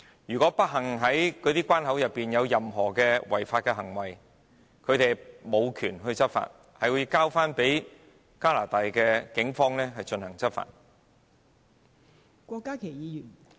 如果不幸在關口內發生違法行為，他們無權執法，而要交由加拿大警方執法......